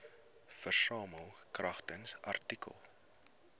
versamel kragtens artikel